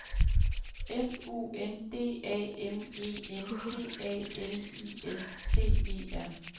F U N D A M E N T A L I S T E R